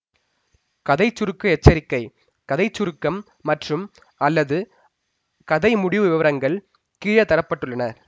கதை சுருக்க எச்சரிக்கை கதை சுருக்கம் மற்றும்அல்லது கதை முடிவு விவரங்கள் கீழே தர பட்டுள்ளன